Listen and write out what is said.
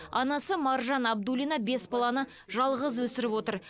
анасы маржан абдуллина бес баланы жалғыз өсіріп отыр